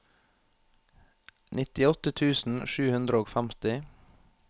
nittiåtte tusen sju hundre og femti